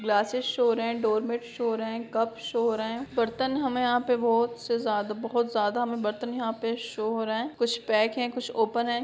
Glasses show हो रहा है डोरमेट शो हो रहे है कप शो हो रहे है बर्तन हमे यहाँ पे बोहत से ज्यादा बहुत ज्यादा हमे बर्तन यहाँ पे शो हो रहे है कुछ पैक है कुछ ओपन है।